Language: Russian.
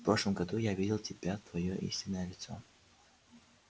в прошлом году я видел тебя твоё истинное лицо